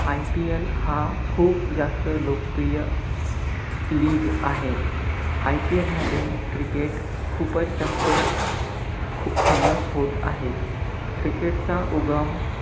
IPL हा खूप जास्त लोकप्रिय league आहे. IPL मध्ये, cricket खूपच जास्त खूप famous होत आहे. cricket चा उगम,